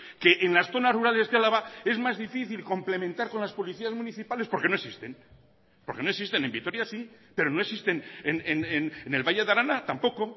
que en las zonas rurales de álava es más difícil complementar con las policías municipales porque no existen porque no existen en vitoria sí pero no existen en el valle de arana tampoco